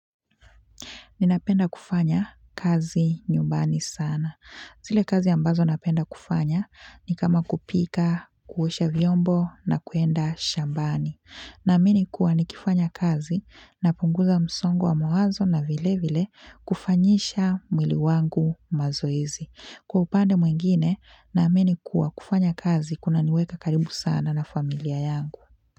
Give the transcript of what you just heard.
Ninapenda kufanya kazi nyumbani sana. Zile kazi ambazo napenda kufanya ni kama kupika, kuosha vyombo na kuenda shambani. Na amini kuwa nikifanya kazi na punguza msongo wa mawazo na vile vile kufanyisha mwili wangu mazoezi. Kwa upande mwingine na amini kuwa kufanya kazi kuna niweka karibu sana na familia yangu.